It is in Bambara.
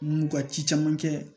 N'u ka ci caman kɛ